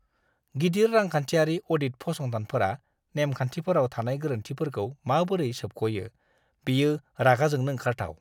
गिदिर रांखान्थियारि अ'डिट फसंथानफोरा नेम-खान्थिफोराव थानाय गोरोन्थिफोरखौ माबोरै सोबख'यो, बेयो रागा जोंनो ओंखारथाव!